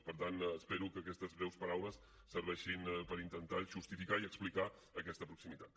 per tant espero que aquestes breus paraules serveixin per intentar justificar i explicar aquesta proximitat